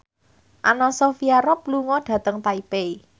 Anna Sophia Robb lunga dhateng Taipei